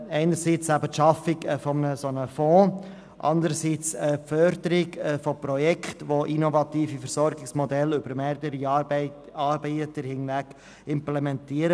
– Einerseits sieht sie die Schaffung eines solchen Fonds vor, und andererseits fordert sie die Förderung von Projekten, die innovative Versorgungsmodelle mit mehreren Anbietern implementieren.